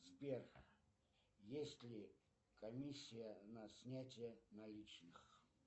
сбер есть ли комиссия на снятие наличных